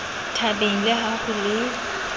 thabeng le ha ho le